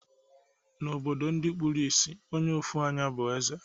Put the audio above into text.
Na obodo ndi kpuru isì, Onye ofu anyá bu eze